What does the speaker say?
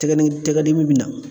Tɛgɛ tɛgɛ dimi bɛna.